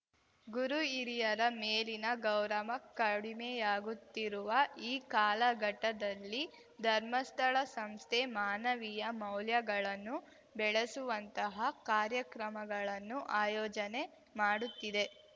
ಗುರು ಹಿರಿಯರ ಮೇಲಿನ ಗೌರವ ಕಡಿಮೆಯಾಗುತ್ತಿರುವ ಈ ಕಾಲಘಟ್ಟದಲ್ಲಿ ಧರ್ಮಸ್ಥಳ ಸಂಸ್ಥೆ ಮಾನವೀಯ ಮೌಲ್ಯಗಳನ್ನು ಬೆಳೆಸುವಂತಹ ಕಾರ್ಯಕ್ರಮಗಳನ್ನು ಆಯೋಜನೆ ಮಾಡುತ್ತಿದೆ